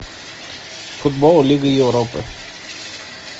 футбол лига европы